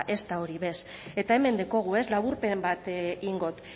hori be eta hemen daukagu laburpen bat egingo dot